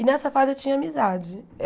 E, nessa fase, eu tinha amizade.